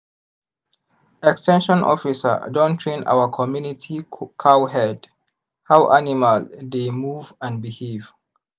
ex ten sion officer don train our community cowherd how animal dey move and behave.